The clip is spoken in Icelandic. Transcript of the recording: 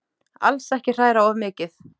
Alls ekki hræra of mikið.